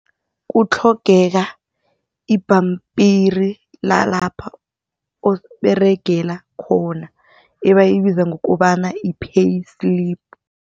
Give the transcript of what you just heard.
Kutlhogeka ibhampiri lalapha oberegela khona abayibiza ngokobana yi-payslip.